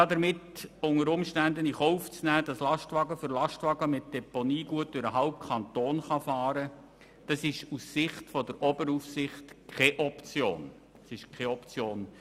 Damit nimmt man unter Umständen in Kauf, dass viele Lastwagen mit Deponiegut durch den halben Kanton fahren können.